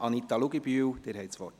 Anita Luginbühl, Sie haben das Wort.